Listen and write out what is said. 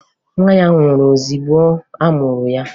Nwa ya nwụrụ ozugbo a mụrụ ya